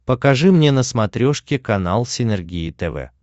покажи мне на смотрешке канал синергия тв